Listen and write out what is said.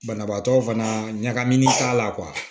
Banabaatɔ fana ɲagaminen t'a la